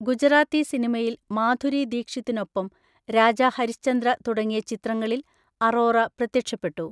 ഗുജറാത്തി സിനിമയിൽ മാധുരി ദീക്ഷിത്തിനൊപ്പം രാജാ ഹരിശ്ചന്ദ്ര തുടങ്ങിയ ചിത്രങ്ങളിൽ അറോറ പ്രത്യക്ഷപ്പെട്ടു.